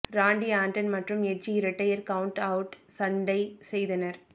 ராண்டி Orton மற்றும் Edge இரட்டையர் count out சண்டை செய்தனர்